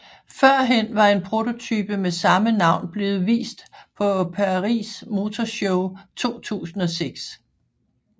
Førhen var en prototype med samme navn blevet vist på Paris Motor Show 2006